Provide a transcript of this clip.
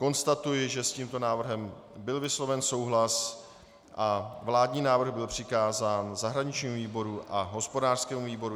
Konstatuji, že s tímto návrhem byl vysloven souhlas a vládní návrh byl přikázán zahraničnímu výboru a hospodářskému výboru.